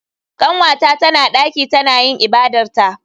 Kanwata tana daki tana yin ibadarta.